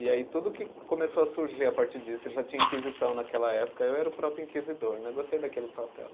E aí tudo que começou a surgir a partir disso, ele já tinha inquisição naquela época, eu era o próprio inquisidor né, gostei daquele papel.